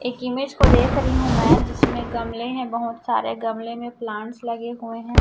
एक इमेज को देख रही हूं मैं जिसमें गमले हैं बहोत सारे गमले में प्लांट्स लगे हुए हैं।